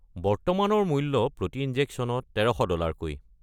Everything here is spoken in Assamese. বৰ্তমানৰ মূল্য প্ৰতি ইনজেকশ্যনত ১৩০০ ডলাৰকৈ।